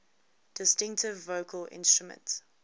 distinctive vocal instrument